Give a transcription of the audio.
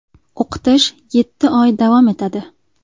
O‘qitish yetti oy davom etadi.